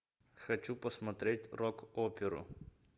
хочу посмотреть рок оперу